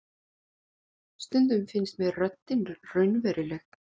Stundum finnst mér röddin raunveruleg.